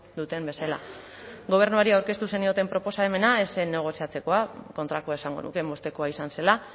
duten bezala gobernuari aurkeztu zenioten proposamena ez zen negoziatzekoa kontrakoa esango nuke moztekoa izan zela